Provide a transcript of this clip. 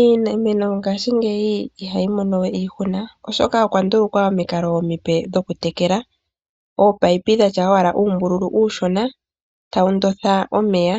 Iimeno ngashingeyi ihayi mono we iihuna oshoka okwa ndulukwa omikalo omipe dhokutekela. Oopayipi dhatya owala uumbululu uushona tawu ndotha omeya